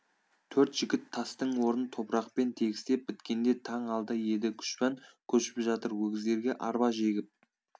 төрт жігіт тастың орнын топырақпен тегістеп біткенде таң алды еді күжбан көшіп жатыр өгіздерге арба жегіп